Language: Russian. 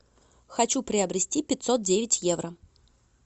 хочу приобрести пятьсот девять евро